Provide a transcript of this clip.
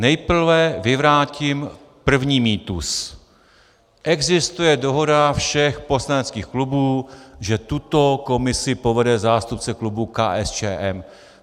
Nejprve vyvrátím první mýtus - existuje dohoda všech poslaneckých klubů, že tuto komisi povede zástupce klubu KSČM.